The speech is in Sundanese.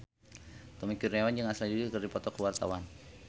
Tommy Kurniawan jeung Ashley Judd keur dipoto ku wartawan